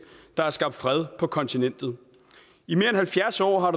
der har skabt fred på kontinentet i mere end halvfjerds år har